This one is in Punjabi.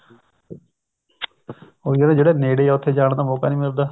ਉਹੀ ਆ ਨਾ ਜਿਹੜਾ ਨੇੜੇ ਹੈ ਉੱਥੇ ਜਾਣ ਦਾ ਮੋਕਾ ਨੀ ਮਿਲਦਾ